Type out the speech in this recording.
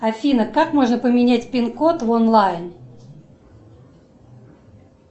афина как можно поменять пин код в онлайн